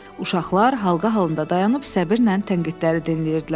Uşaqlar halqa halında dayanıb səbirlə tənqidləri dinləyirdilər.